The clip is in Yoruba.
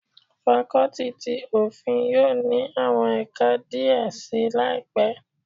Fakọ́tì ti Òfin yóò ní àwọn ẹ̀ka díẹ̀ si laipe.